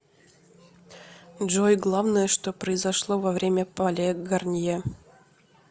джой главное что произошло во время пале гарнье